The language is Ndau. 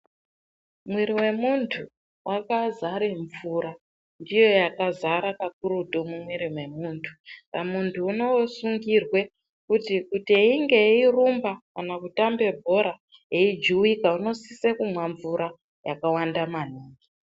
Mwiri wemuntu wakazare mvura. Ndiyo yakazara kakurutu mumwiri memuntu saka muntu inosungirwe kuti einge eirumba kana kutambe bhora eijuwika unosise kumwa mvura yakawanda maningi.